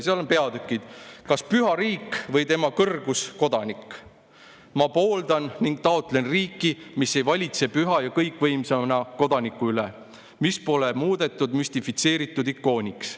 Seal on peatükis "Kas Püha Riik või Tema Kõrgus Kodanik?" kirjas nii: "Ma pooldan ning taotlen riiki, mis ei valitse püha ja kõikvõimsana Kodaniku üle; mis pole muudetud müstifitseeritud ikooniks.